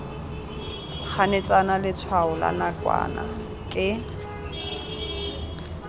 ganetsana letshwao la nakwana ke